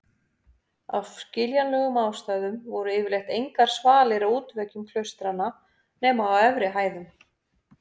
Af skiljanlegum ástæðum voru yfirleitt engar svalir á útveggjum klaustranna nema á efri hæðum.